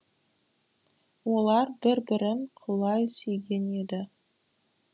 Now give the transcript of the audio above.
олар бір бірін құлай сүйген еді